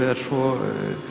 er svo